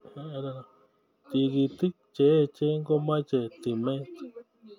Tigitik cheechen komache timet